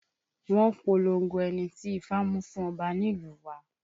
Wọ́n polongo ẹni tí ifá mú fún ọba nílùú wa